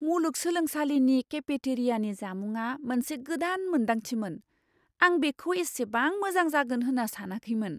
मुलुगसोलोंसालिनि केफेटेरियानि जामुंआ मोनसे गोदान मोनदांथिमोन। आं बेखौ एसेबां मोजां जागोन होन्ना सानाखैमोन।